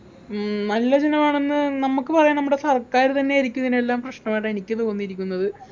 ഉം നല്ല ജനം ആണെന്ന് നമുക്ക് പറയാൻ നമ്മുടെ സർക്കാർ തന്നെ ആയിരിക്കും ഇതിനെല്ലാം പ്രശ്നമായിട്ടാ എനിക്ക് തോന്നിയിരിക്കുന്നത്